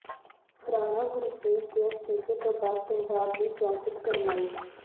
ਰਾਣਾ ਗੁਰਜੀਤ ਦੇ ਅਸਤੀਫੇ ਤੋਂ ਬਾਅਦ ਪੰਜਾਬ ਦੀ ਸਿਆਸਤ ਗਰਮਾਈ